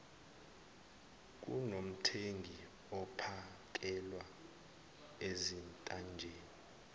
kunomthengi ophakelwa ezintanjeni